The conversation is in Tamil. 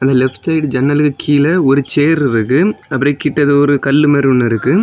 இது லெப்ட் சைடு ஜன்னலு கிழ ஒரு சேர் இருக்கு அப்ரோ கிட்ட கல்லு மாரி ஒன்னு இருக்கு.